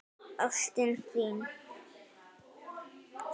Ástin þín!